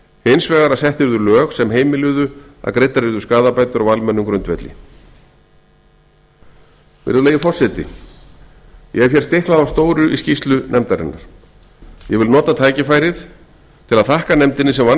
hins vegar að sett yrðu lög sem heimiluðu að greiddar yrðu skaðabætur á almennum grundvelli hér hefur verið stiklað á stóru í skýrslu nefndarinnar ég vil nota tækifærið til að þakka nefndinni sem vann